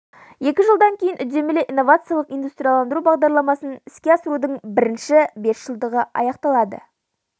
екі жылдан кейін үдемелі инновациялық индустрияландыру бағдарламасын іске асырудың бірінші бесжылдығы аяқталады